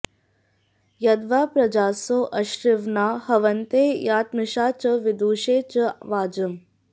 यद्वां॑ प॒ज्रासो॑ अश्विना॒ हव॑न्ते या॒तमि॒षा च॑ वि॒दुषे॑ च॒ वाज॑म्